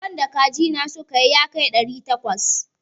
Ƙwan da kaji na suka yi yakar ɗari takwas.